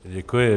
Děkuji.